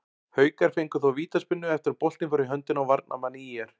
Haukar fengu þó vítaspyrnu eftir að boltinn fór í höndina á varnarmanni ÍR.